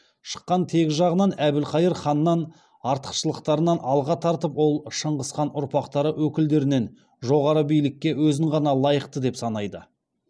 шыққан тегі жағынан әбілқайыр ханнан артықшылықтарын алға тартқан ол шыңғыс хан ұрпақтары өкілдерінен жоғары билікке өзін ғана лайықты деп санайды